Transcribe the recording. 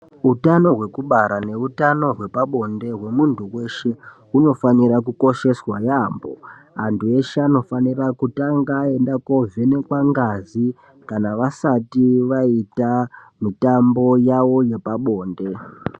Eutano hwekubara neutano hwepabonde hwemuntu weshe hunofanire kukosheswa yaampho. Antibeshe anofanirea kutanga aenda kovhenekwa ngazi kana vasati va